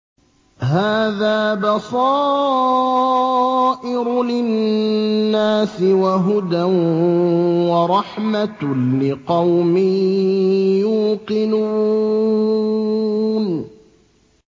هَٰذَا بَصَائِرُ لِلنَّاسِ وَهُدًى وَرَحْمَةٌ لِّقَوْمٍ يُوقِنُونَ